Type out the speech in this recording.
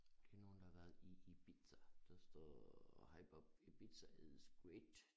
Det nogen der har været i Ibiza der står hej Bob Ibiza is great